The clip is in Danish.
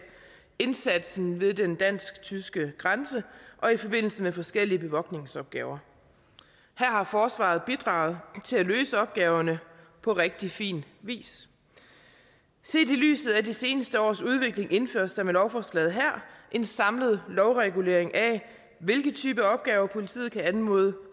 indsatsen ved den dansk tyske grænse og i forbindelse med forskellige bevogtningsopgaver her har forsvaret bidraget til at løse opgaverne på rigtig fin vis set i lyset af de seneste års udvikling indføres der med lovforslaget her en samlet lovregulering af hvilke typer opgaver politiet kan anmode